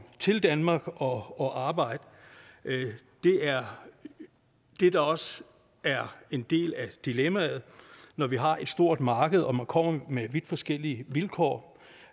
til danmark og og arbejde det er det der også er en del af dilemmaet når vi har et stort marked og man kommer med vidt forskellige vilkår